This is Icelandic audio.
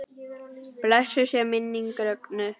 Blessuð sé minning Rögnu.